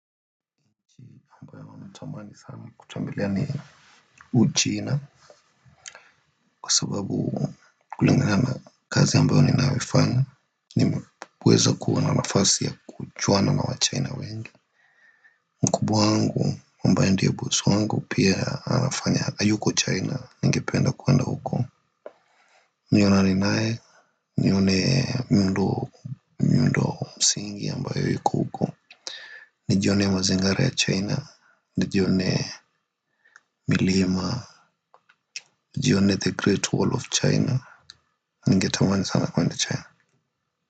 Natamani sana kutembelea ni Uchina Kwa sababu kulingana kazi ambayo ninayoifanya nimeweza kuwa na nafasi ya kujuana na Wachina wengi. Mkubwa wangu ambaye ndio bosi wangu pia anafanya yuko China ningependa kuenda huko nionane naye nione miundo msingi ambayo iko huko. Nijione mazingara ya China. Nijionee milima nijionee The Great Wall of China. Ningetamani sana kuenda China.